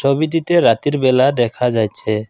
ছবিটিতে রাতের বেলা দেখা যাইছে ।